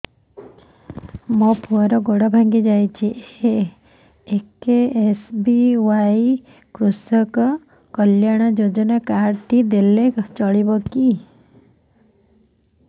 ମୋ ପୁଅର ଗୋଡ଼ ଭାଙ୍ଗି ଯାଇଛି ଏ କେ.ଏସ୍.ବି.ୱାଇ କୃଷକ କଲ୍ୟାଣ ଯୋଜନା କାର୍ଡ ଟି ଦେଲେ ଚଳିବ